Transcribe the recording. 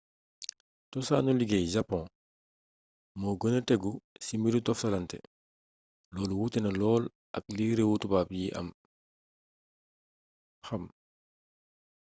cosaanu liggéey japon mo gëna tegu ci mbiru toftalante lolu wutée na lool ak li réewu tubaab yi xam